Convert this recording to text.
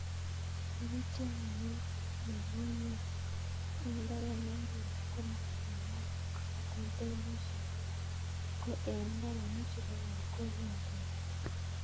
Ndapityo mugongiot eng' mbaret ne lel ko mamagat katoltolishek ko eng' mbaronik chepo keny ko kindeni